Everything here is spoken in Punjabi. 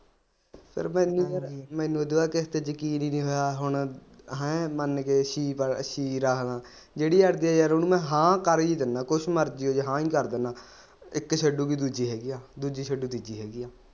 ਯਾਰ ਮੈਨੂੰ ਯਾਰ ਓਦੇ ਤੋਂ ਬਾਅਦ ਕਿਸੇ ਤੇ ਯਕੀਨ ਈ ਨੀ ਹੋਇਆ ਹੁਣ ਹੈਂ ਮਨ ਕੇ ਕੀ ਫਾਇਦਾ ਕੀ ਰੱਖਲਾ ਜਿਹੜੀ ਅੜ੍ਹਜੇ ਯਾਰ ਓਨੂੰ ਮੈਂ ਹਾਂ ਕਰ ਈ ਦੀਨਾ ਕੁਛ ਮਰਜੀ ਹੋਜੇ ਹਾਂ ਕਰ ਈ ਦੀਨਾ ਇੱਕ ਛੱਡੂਗੀ ਦੂਜੀ ਹੈਗੀ ਦੂਜੀ ਛੱਡੂ ਤੇ ਤੀਜੀ ਹੈਗੀ ਆ।